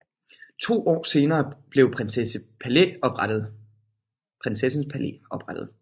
To år senere blev Prinsens Palæ oprettet